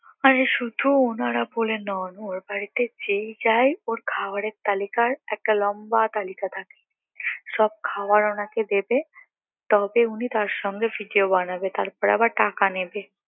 আরে শুধু ওনারা বলে নয় ওর বাড়িতে যেই যায় ওর খাবারের তালিকায় একটা লম্বা তালিকা থাকে সব খাবার ওনাকে দেবে তবে উনি তার সঙ্গে ভিডিও বানাবে তারপর আবার টাকা নেবে